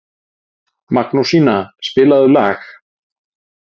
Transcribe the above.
Magnúsína, spilaðu lag.